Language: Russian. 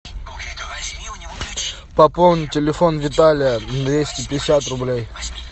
пополни телефон виталия двести пятьдесят рублей